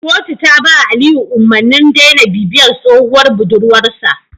Kotu ta ba Aliyu umarnin daina bibiyar tsohuwar budurwar sa